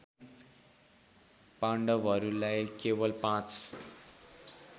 पाण्डवहरूलाई केवल पाँच